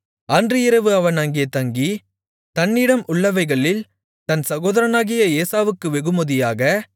அன்று இரவு அவன் அங்கே தங்கி தன்னிடம் உள்ளவைகளில் தன் சகோதரனாகிய ஏசாவுக்கு வெகுமதியாக